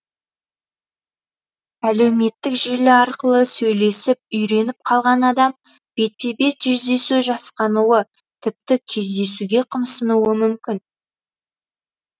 әлеуметтік желі арқылы сөйлесіп үйреніп қалған адам бетпе бет жүздесу жасқануы тіпті кездесуге қымсынуы мүмкін